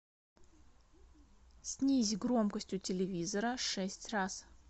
снизь громкость у телевизора шесть раз